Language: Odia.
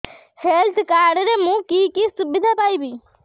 ହେଲ୍ଥ କାର୍ଡ ରେ ମୁଁ କି କି ସୁବିଧା ପାଇବି